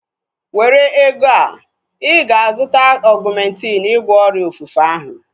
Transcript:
Were ego a! Ịga azụta Ọgumentin ịgwọ ọrịa ofufe ahu